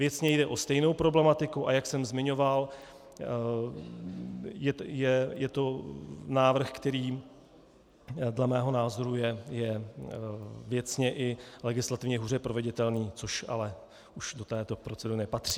Věcně jde o stejnou problematiku, a jak jsem zmiňoval, je to návrh, který dle mého názoru je věcně i legislativně hůře proveditelný, což ale už do této procedury nepatří.